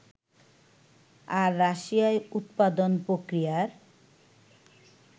আর রাশিয়ায় উৎপাদন-প্রক্রিয়ার